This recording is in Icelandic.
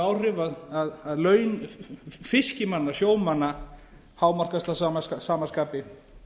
áhrif að laun fiskimanna sjómanna hámarkast að sama skapi